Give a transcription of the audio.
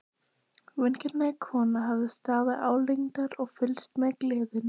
Vingjarnleg kona hafði staðið álengdar og fylgst með gleðinni.